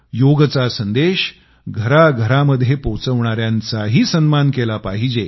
योगचा संदेश घराघरामध्ये पोचवणाऱ्यांचाही सन्मान केला पाहिजे